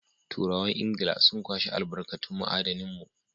Turawan Ingila sun kwashi albarkatun ma'adinan mu.